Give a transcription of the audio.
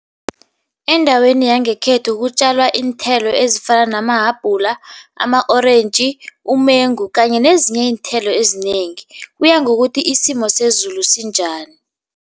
Endaweni yangekhethu kutjalwa iinthelo ezifana namahabhula, ama-orentji, umengu kanye nezinye iinthelo ezinengi. Kuya ngokuthi isimo sezulu sinjani.